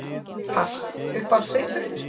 Pass Uppáhaldsdrykkur?